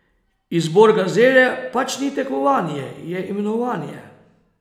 Izbor gazele pač ni tekmovanje, je imenovanje.